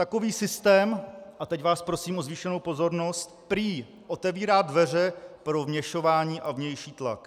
Takový systém - a teď vás prosím o zvýšenou pozornost - prý otevírá dveře pro vměšování a vnější tlak.